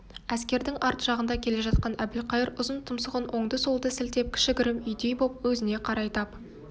әскердің арт жағында келе жатқан әбілқайыр ұзын тұмсығын оңды-солды сілтеп кіші-гірім үйдей боп өзіне қарай тап